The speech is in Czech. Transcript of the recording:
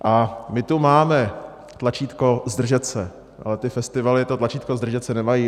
A my tu máme tlačítko zdržet se, ale ty festivaly to tlačítko zdržet se nemají.